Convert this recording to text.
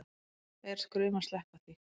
Er skrum að sleppa því